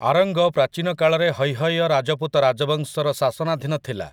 ଆରଙ୍ଗ ପ୍ରାଚୀନ କାଳରେ ହୈହୟ ରାଜପୁତ ରାଜବଂଶର ଶାସନାଧୀନ ଥିଲା ।